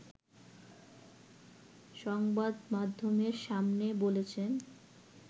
সংবাদমাধ্যমের সামনে বলেছেন